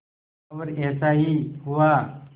और ऐसा ही हुआ